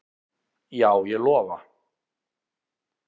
Já, ég lofa